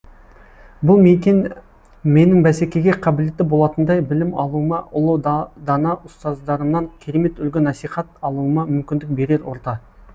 бұл мекен менің бәсекеге қабілетті болатындай білім алуыма ұлы дана ұстаздарымнан керемет үлгі насихат алуыма мүмкіндік берер орта